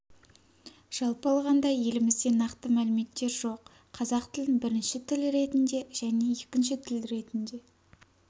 жалпы алғанда елімізде нақты мәліметтер жоқ қазақ тілін бірінші тіл ретінде және екінші тіл ретінде